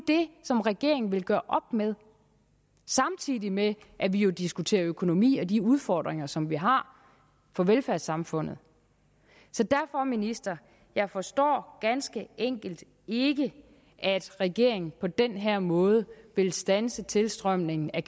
det som regeringen nu vil gøre op med samtidig med at vi jo diskuterer økonomi og de udfordringer som vi har for velfærdssamfundet så derfor ministeren jeg forstår ganske enkelt ikke at regeringen på den her måde vil standse tilstrømningen af